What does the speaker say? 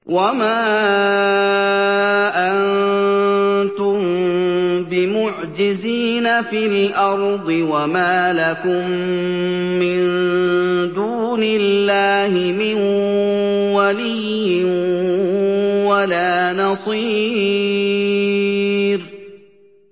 وَمَا أَنتُم بِمُعْجِزِينَ فِي الْأَرْضِ ۖ وَمَا لَكُم مِّن دُونِ اللَّهِ مِن وَلِيٍّ وَلَا نَصِيرٍ